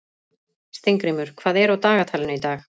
Steingrímur, hvað er á dagatalinu í dag?